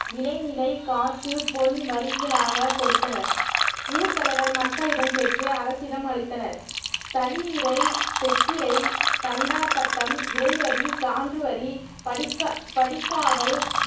விலைநிலை காசு பொன் வரிகளாக கொடுத்தனர் ஊர் தலைவர் மக்களிடம் பெற்று அரசிடம் அளித்தனர் களியீரை செக்கீரை தண்டார் பட்டம் இறைவழி சான்றுவரி படிகா படிக்காவல்